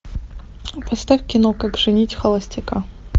поставь кино как женить холостяка